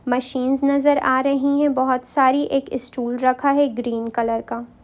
Machine नज़र आ रही है| बहुत सारी एक स्टूल रखा है ग्रीन कलर का।